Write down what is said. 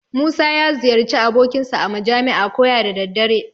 Musa ya ziyarci abokinsa a majami'a koya da daddare.